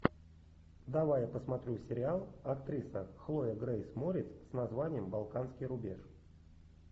давай я посмотрю сериал актриса хлоя грейс морец с названием балканский рубеж